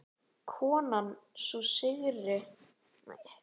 Konan, sú yngri, stóð allt í einu fyrir aftan hann.